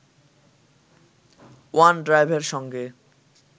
ওয়ান-ড্রাইভের সঙ্গে